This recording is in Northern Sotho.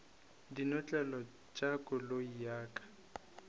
dinotlelo tša koloi ya ka